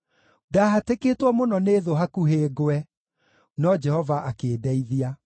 Ndahatĩkĩtwo mũno nĩ thũ hakuhĩ ngwe, no Jehova akĩndeithia.